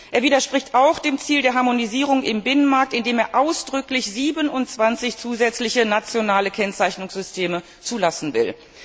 Er widerspricht auch dem Ziel der Harmonisierung im Binnenmarkt, indem er ausdrücklich 27 zusätzliche nationale Kennzeichnungssysteme zulassen will.